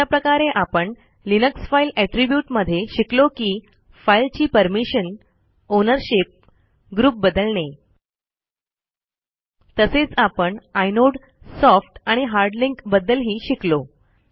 अशा प्रकारे आपण लिनक्स फाइल एट्रिब्यूट मध्ये शिकलो की फाइल ची परमिशन आउनरशिप ग्रुप बदलणे तसेच आपण आयनोड सॉफ्ट आणि हार्ड लिंक बद्दलही शिकलो